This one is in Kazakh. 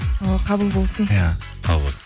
о қабыл болсын иә қабыл болсын